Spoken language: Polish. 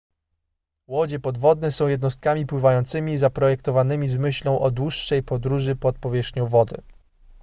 łodzie podwodne są jednostkami pływającymi zaprojektowanymi z myślą o dłuższej podróży pod powierzchnią wody